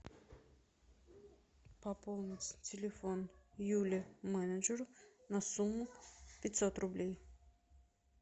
пополнить телефон юли менеджеру на сумму пятьсот рублей